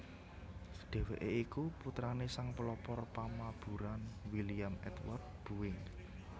Dhèwèké iku putrané sang pelopor pamaburan William Edward Boeing